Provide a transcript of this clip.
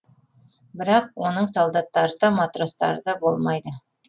бірақ оның солдаттары да матростары да болмайды